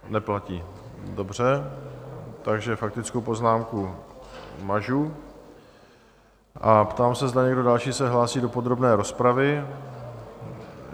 Neplatí, dobře, takže faktickou poznámku mažu a ptám se, zda někdo další se hlásí do podrobné rozpravy.